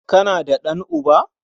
Kana da ɗan'uba?